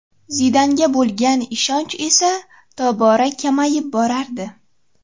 Zidanga bo‘lgan ishonch esa tobora kamayib borardi.